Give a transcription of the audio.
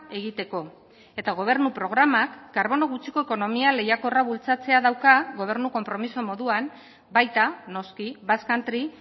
egiteko eta gobernu programak karbono gutxiko ekonomia lehiakorra bultzatzea dauka gobernu konpromiso moduan baita noski basque country